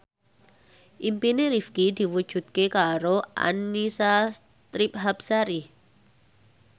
impine Rifqi diwujudke karo Annisa Trihapsari